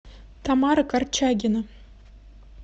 тамара корчагина